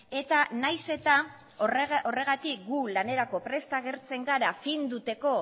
eta nahiz eta horregatik gu lanerako prest agertzen gara finduteko